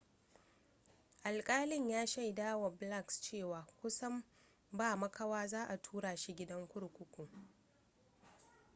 alƙalin ya shaidawa blakes cewa kusan ba makawa za a tura shi gidan kurkuku